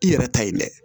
I yɛrɛ ta ye mɛ